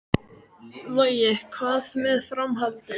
Logi: Hvað með framhaldið?